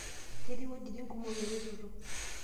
Ketii wujitin kumok eretoto.